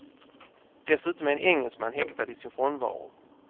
Dessutom är en engelsman häktad i sin frånvaro.